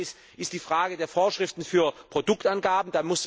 Das eine ist die Frage der Vorschriften für Produktangaben.